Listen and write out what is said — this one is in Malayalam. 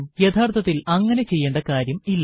യഥാർത്ഥത്തിൽ അങ്ങനെ ചെയ്യേണ്ട കാര്യം ഇല്ല